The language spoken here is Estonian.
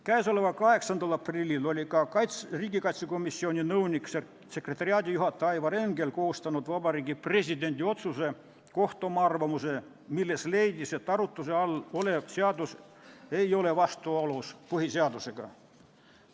Käesoleva aasta 8. aprillil koostas riigikaitsekomisjoni nõunik-sekretariaadijuhataja Aivar Engel Vabariigi Presidendi otsuse kohta oma arvamuse, milles leidis, et arutluse all olev seadus ei ole põhiseadusega vastuolus.